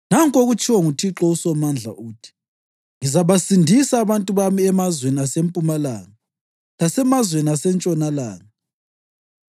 Nanku okutshiwo nguThixo uSomandla, uthi: “Ngizabasindisa abantu bami emazweni asempumalanga lasemazweni asentshonalanga.